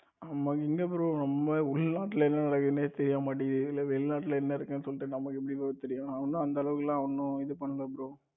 நம்ம எங்க bro நம்ம உள்நாட்டிலே என்ன நடக்குதுன்னு தெரிய மாட்டேங்குது இதுல வெளிநாட்டில் என்ன இருக்குன்னு சொல்லிட்டு நம்மக்கு எப்படி bro தெரியும் நான் ஒன்னும் அந்த அளவுக்கு எல்லாம் ஒன்னும் இது பண்ணல bro